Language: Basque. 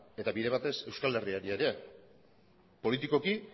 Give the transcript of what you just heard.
eta bide batez euskal herriari ere politikoki